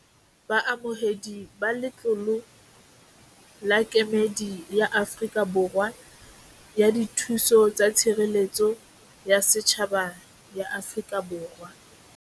Baamohedi ba letlolo la Kemedi ya Afrika Borwa ya Dithuso tsa Tshireletso ya Setjhaba ya Afrika Borwa.